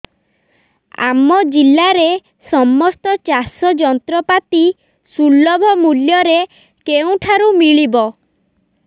ଆମ ଜିଲ୍ଲାରେ ସମସ୍ତ ଚାଷ ଯନ୍ତ୍ରପାତି ସୁଲଭ ମୁଲ୍ଯରେ କେଉଁଠାରୁ ମିଳିବ